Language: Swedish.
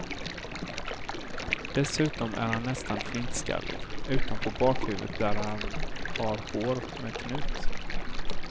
Dessutom är han nästan flintskallig, utom på bakhuvudet där han har hår med knut.